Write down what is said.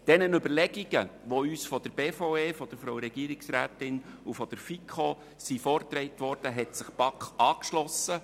Diesen Überlegungen, die uns von der Frau Regierungsrätin und der FiKo vorgetragen wurden, hat sich die BaK angeschlossen.